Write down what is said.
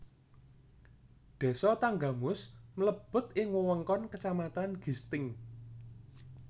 Désa Tanggamus mlebet ing wewengkon kacamatan Gisting